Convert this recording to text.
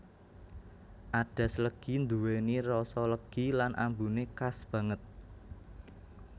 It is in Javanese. Adas legi nduweni rasa legi lan ambune khas banget